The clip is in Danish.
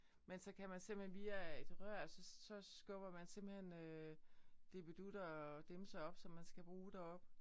Men så kan man simpelthen via et rør så så skubber man simpelthen øh dippeditter og dimser op som man skal bruge deroppe